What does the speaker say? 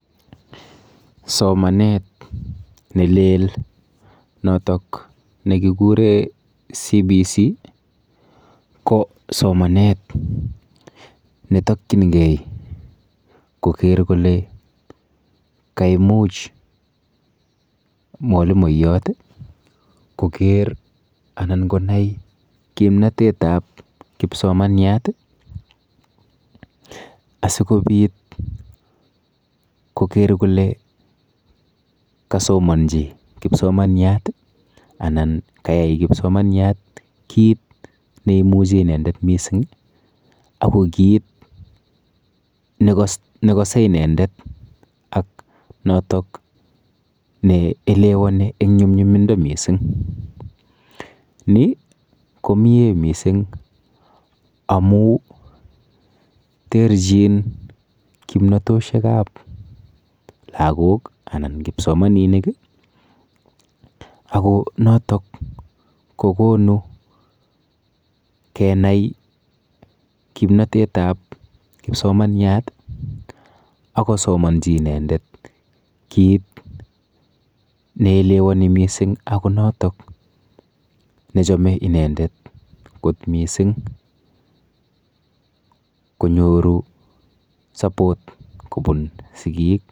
Somanet nelel notok nekikure CBC ko somanet netokchingei koker kole kaimuch mwalimoyot koker anan konai komnotetap kipsomanyat asikobit koker kole kasomanji kipsomanyat anan kayai kipsomanyat kit neimuchi inendet mising ako kit nekose inendet ak notok neelewoni eng nyumnyumindo mising. Ni komie mising amu terchin kimnotoshekap lagok anan kipsomaninik ako notok kokonu kenai kimnotetap kipsomanyat akosomonji inendet kit neelewoni mising ako notok nechome inendet kot mising konyoru support kobun sigik.